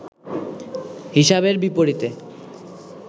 হিসাবের বিপরীতে